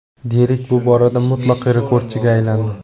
Derrik bu borada mutlaq rekordchiga aylandi.